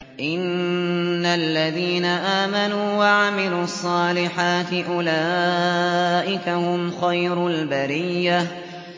إِنَّ الَّذِينَ آمَنُوا وَعَمِلُوا الصَّالِحَاتِ أُولَٰئِكَ هُمْ خَيْرُ الْبَرِيَّةِ